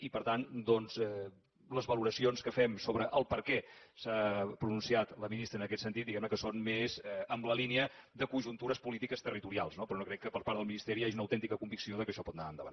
i per tant doncs les valoracions que fem sobre per què s’ha pronunciat la ministra en aquest sentit diguem ne que són més en la línia de conjuntures polítiques territorials no però no crec que per part del ministeri hi hagi una autèntica convicció que això pot anar endavant